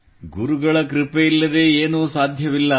ಗುರುಗಳ ಕೃಪೆಯಿಲ್ಲದೆ ಏನೂ ಸಾಧ್ಯವಿಲ್ಲ